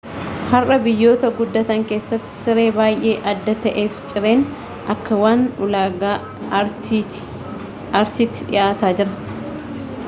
har'a biyyoota guddatan keessatti siree baay'ee adda ta'ee fi cireen akka waan ulaagaa artiiti dhiyaataa jira